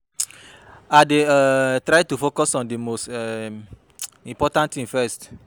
i dey um try to focus on di most um important thing first.